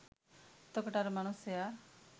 එතකොට අර මනුස්සයා